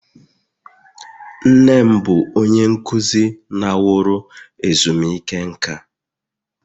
Nne m bụ onye nkuzi laworo ezumike nka